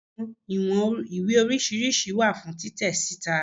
Awọn iwọn iwe oriṣiriṣi wa fun titẹ sita